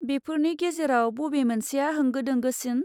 बेफोरनि गेजेराव बबे मोनसेया होंगो दोंगोसिन?